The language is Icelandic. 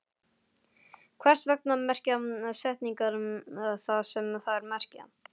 Hvers vegna merkja setningar það sem þær merkja?